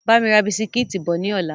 Bámi ra bisikítì bọ̀ ni ọ̀la!